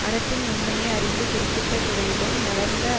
அறத்தின் நுண்மையை அறிந்து குறிப்பிட்ட துறையிலும் வளர்ந்த